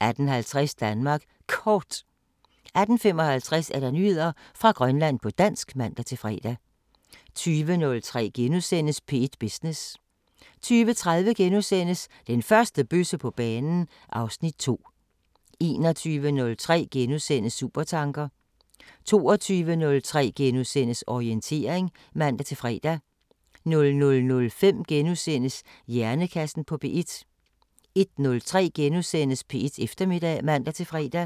18:50: Danmark Kort 18:55: Nyheder fra Grønland på dansk (man-fre) 20:03: P1 Business * 20:30: Den første bøsse på banen (Afs. 2)* 21:03: Supertanker * 22:03: Orientering *(man-fre) 00:05: Hjernekassen på P1 * 01:03: P1 Eftermiddag *(man-fre)